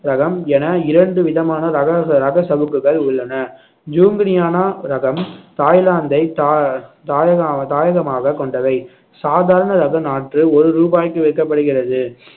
ரகம் என இரண்டு விதமான ரக ச~ ரக சவுக்குகள் உள்ளன ஜூங்கனியானா ரகம் தாய்லாந்தை தாயகம் தாயகமாக கொண்டவை சாதாரண ரக நாற்று ஒரு ரூபாய்க்கு விற்கப்படுகிறது